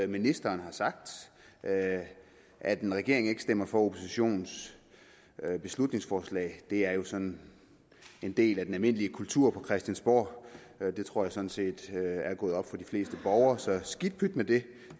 ministeren har sagt at at en regering ikke stemmer for oppositionens beslutningsforslag er jo sådan en del af den almindelige kultur på christiansborg det tror jeg sådan set er gået op for de fleste borgere så skidt pyt med det